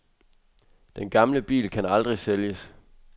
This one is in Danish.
Den gamle bil kan aldrig sælges.